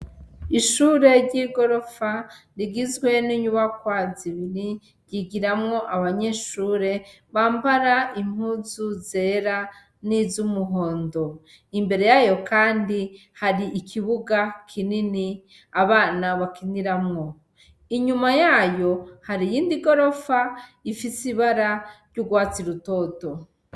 Ishure ry'igorofa rigizwe n'inyubakwa zibiri yigiramwo abanyeshure bambara impuzu zera niz'umuhondo ,imbere yayo kandi har'ikibuga kinini abana bakiniramwo, inyuma yayo har'iyindi gorofa ifis'ibara ry'urwatsi rutoto.